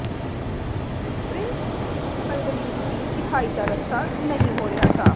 prince Alwaleed ਦੀ ਰਿਹਾਈ ਦਾ ਰਸਤਾ ਨਹੀਂ ਹੋ ਰਿਹਾ ਸਾਫ਼